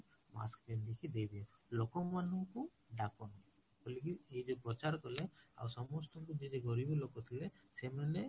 mask ପିନ୍ଧିକି ଦେଇ ଦିୟ, ଲୋକ ମାନଙ୍କୁ ଡା଼କଣି ବଳିକି ଏଇ ଯୋଉ ପ୍ରଚାର କଲେ ଆଉ ସମସସ୍ତଙ୍କୁ ଯିଏ ଗରିବ ଲୋକଥିଲେ ସେମାନେ